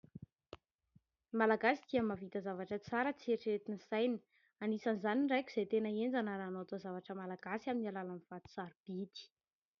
Ny Malagasy dia mahavita zavatra tsara tsy eritreretin'ny saina. Anisan'izany ny raiko izay tena henjana raha anao taozavatra malagasy amin'ny alalan'ny vato sarobidy.